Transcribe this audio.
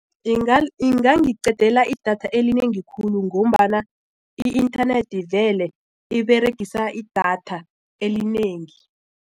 Ingangiqedela idatha elinengi khulu ngombana i-inthanethi vele iberegisa idatha elinengi.